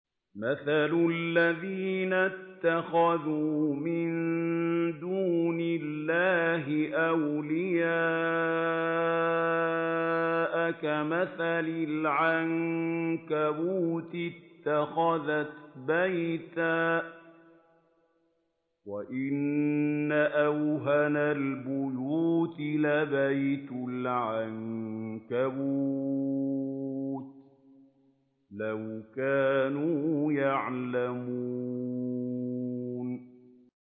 مَثَلُ الَّذِينَ اتَّخَذُوا مِن دُونِ اللَّهِ أَوْلِيَاءَ كَمَثَلِ الْعَنكَبُوتِ اتَّخَذَتْ بَيْتًا ۖ وَإِنَّ أَوْهَنَ الْبُيُوتِ لَبَيْتُ الْعَنكَبُوتِ ۖ لَوْ كَانُوا يَعْلَمُونَ